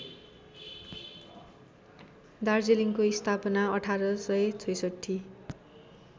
दार्जीलिङको स्थापना १८६६